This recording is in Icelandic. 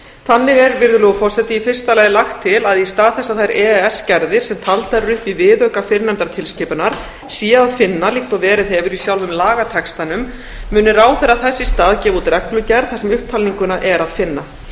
þannig er virðulegur forseti í fyrsta lagi lagt til að í stað þess að þær e e s gerðir sé að finna líkt og verið hefur í sjálfum lagatextanum muni ráðherra þess í stað gefa út reglugerð þar sem upptalninguna er að finna